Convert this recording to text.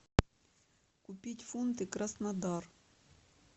купить фунты краснодар